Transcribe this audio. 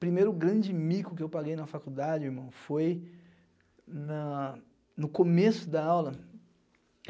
Primeiro grande mico que eu paguei na faculdade, irmão, foi na no começo da aula.